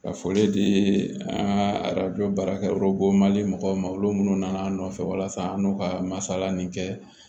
Ka foli di an ka arajo baarakɛ yɔrɔ bon ma di mɔgɔw ma olu minnu nana an nɔfɛ walasa an n'u ka masala nin kɛ